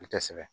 I tɛ sɛbɛ